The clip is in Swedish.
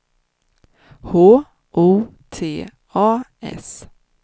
H O T A S